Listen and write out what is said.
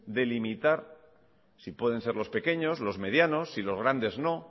delimitar si pueden ser los pequeños los medianos y los grandes no